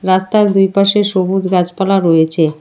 রাস্তার দুইপাশে সবুজ গাছপালা রয়েছে।